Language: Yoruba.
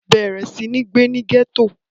bẹ̀rẹ̀ sí ní gbé ní gẹ̀tò